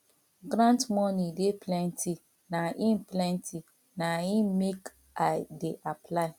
grant moni dey plenty na im plenty na im make i dey apply